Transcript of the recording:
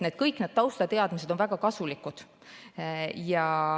Kõik need taustateadmised on väga kasulikud.